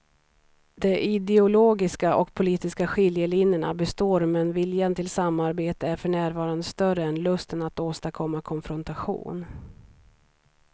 De ideologiska och politiska skiljelinjerna består men viljan till samarbete är för närvarande större än lusten att åstadkomma konfrontation.